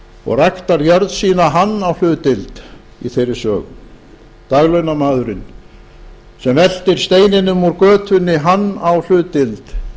og ræktar jörð sína hann á hlutdeild í þeirri sögu daglaunamaðurinn sem veltir steininum úr götunni hann á hlutdeild